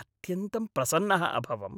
अत्यन्तं प्रसन्नः अभवम्।